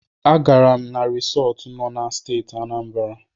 A gaara m na risọt nọ na Steeti Anambara.